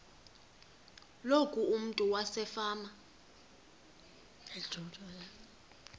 loku umntu wasefama